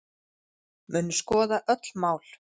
Munu skoða öll mál